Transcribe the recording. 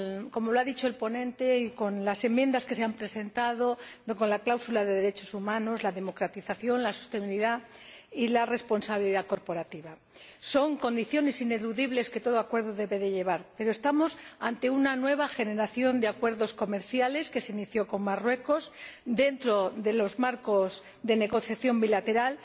Como ha dicho el ponente, las enmiendas que se han presentado, la cláusula de derechos humanos, la democratización, la sostenibilidad y la responsabilidad corporativa son condiciones ineludibles que todo acuerdo debe incluir, y aunque estamos ante una nueva generación de acuerdos comerciales que se inició con Marruecos dentro de los marcos de negociación bilateral,